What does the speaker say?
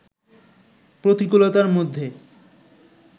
প্রতিকূলতার মধ্যে